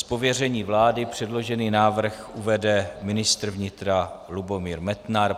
Z pověření vlády předložený návrh uvede ministr vnitra Lubomír Metnar.